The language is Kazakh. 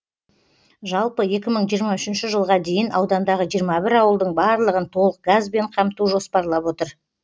жалпы екі мың жиырма үшінші жылға дейін аудандағы жиырма бір ауылдың барлығын толық газбен қамту жоспарлап отыр